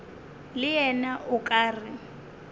le yena o ka re